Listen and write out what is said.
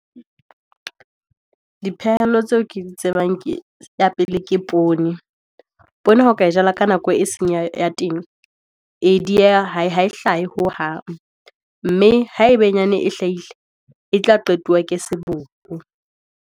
Dipehelo tseo ke di tsebang ke, ya pele ke poone. Poone ha o ka e jala ka nako e seng ya teng. E dieha ha e hlahe hohang. Mme ha e benyane e hlahile e tla qetuwa ke seboko.